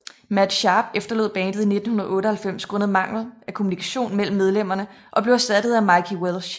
Matt Sharp efterlod bandet i 1998 grundet mangel af kommunikation mellem medlemmerne og blev erstattet af Mikey Welsh